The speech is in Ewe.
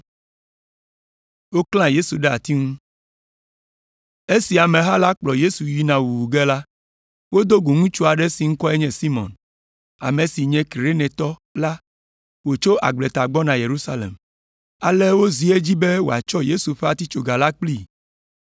Esi ameha la kplɔ Yesu yina wuwu ge la, wodo go ŋutsu aɖe si ŋkɔe nye Simɔn, ame si nye Kirenetɔ la wòtso agbleta gbɔna Yerusalem. Ale wozi edzi be wòatsɔ Yesu ƒe atitsoga la kplii.